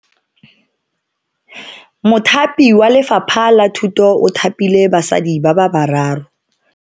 Mothapi wa Lefapha la Thuto o thapile basadi ba bararo.